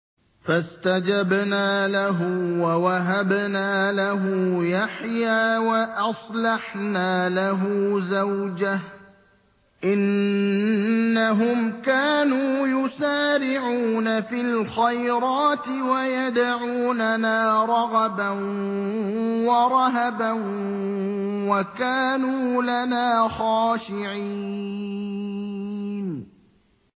فَاسْتَجَبْنَا لَهُ وَوَهَبْنَا لَهُ يَحْيَىٰ وَأَصْلَحْنَا لَهُ زَوْجَهُ ۚ إِنَّهُمْ كَانُوا يُسَارِعُونَ فِي الْخَيْرَاتِ وَيَدْعُونَنَا رَغَبًا وَرَهَبًا ۖ وَكَانُوا لَنَا خَاشِعِينَ